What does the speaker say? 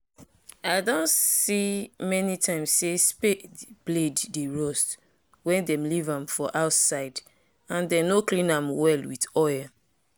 i doh see many times say spade blade dey rust wen them leave am for outside and them nor clean am well with oil